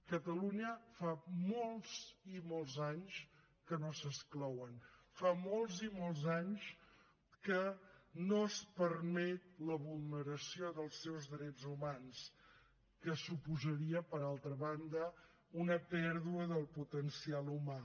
a catalunya fa molts i molts anys que no s’exclouen fa molts i molts anys que no es permet la vulneració dels seus drets humans que suposaria per altra banda una pèrdua del potencial humà